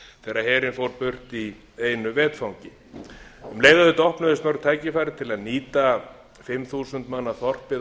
þegar herinn fór burt í einu vetfangi um leið auðvitað opnuðust mörg tækifæri til að nýta fimm þúsund manna þorpið á